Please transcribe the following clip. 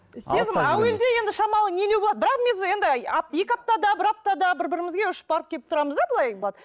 сезім әуелде енді шамалы нелеу болады бірақ екі аптада бір аптада бір бірімізге ұшып барып келіп тұрамыз да былай